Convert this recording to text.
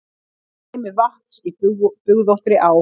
Streymi vatns í bugðóttri á.